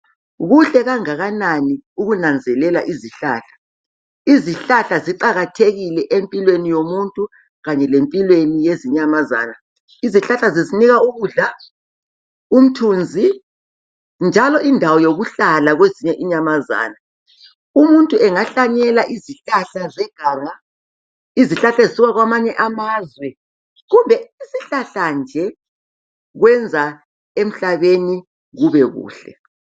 Kuhle kangakanani ukunanzelela izihlahla. Izihlahla ziqakathekile empilweni yomuntu kanye lempilweni yezinyamazana. Izihlahla zisinika ukudla, umthunzi njalo indawo yokuhlala kwezinye inyamazana. Umuntu angahlanyela izihlahla zeganga, izihlahla esisuka kwamanye amazwe kumbe isihlahla nje kwenza emhlabeni kube kuhle.